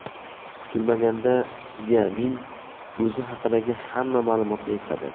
Kutilmaganda Szyamin o‘zi haqidagi hamma ma’lumotni esladi.